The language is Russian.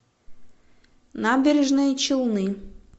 набережные челны